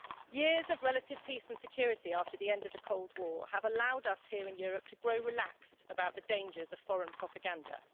Years of relative peace and security after the end of the Cold War have allowed us here in Europe to grow relaxed about the dangers of foreign propaganda.